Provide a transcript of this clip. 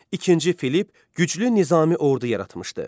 İkinci Filipp güclü nizami ordu yaratmışdı.